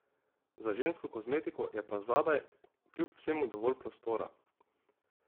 Za žensko kozmetiko je pa zadaj kljub vsemu dovolj prostora.